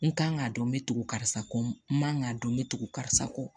N kan k'a dɔn n bɛ tugu karisa kɔ n man k'a dɔn n bɛ tugu karisa kɔ